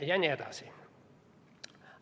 Ja nii edasi.